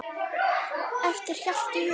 eftir Hjalta Hugason